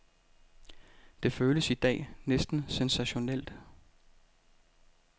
Det føles i dag næsten sensationelt.